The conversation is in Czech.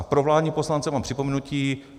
A pro vládní poslance mám připomenutí.